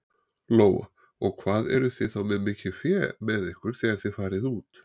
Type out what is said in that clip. Lóa: Og hvað eruð þið þá með mikið fé með ykkur þegar þið farið út?